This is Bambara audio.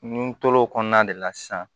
N tor'o kɔnɔna de la sisan